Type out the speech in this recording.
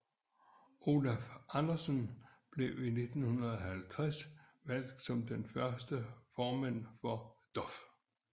Olaf Andersen blev i 1950 valgt som den første formand for DOF